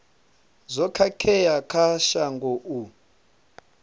zwo khakhea kha shango u